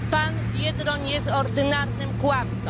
Pan Biedroń jest ordynarnym kłamcą.